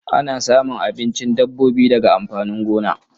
Ana samun abincin dabbobi daga amfanin gona.